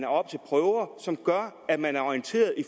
oppe til prøver som gør at man er orienteret